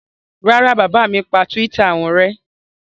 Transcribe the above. Rárá, bàbá mi pa Twitter wọn rẹ́.